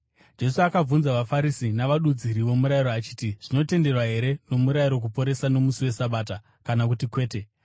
Jesu akabvunza vaFarisi navadudziri vomurayiro achiti, “Zvinotenderwa here nomurayiro kuporesa nomusi weSabata, kana kuti kwete?”